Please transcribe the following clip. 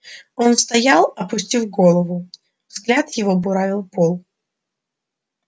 он стоял опустив голову взгляд его буравил пол